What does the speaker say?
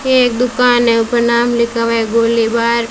ये एक दुकान है ऊपर नाम लिखा है गोली बार।